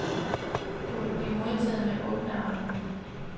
Du vil blive modtaget med åbne arme.